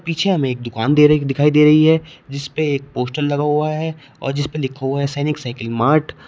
पीछे हमें एक दुकान दे दिखाई दे रही है जिसपे एक पोस्टर लगा हुआ है और जिसपे लिखा हुआ है सैनिक साइकिल मार्ट ।